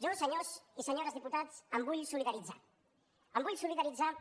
jo senyors i senyores diputats em vull solidaritzar em vull solidaritzar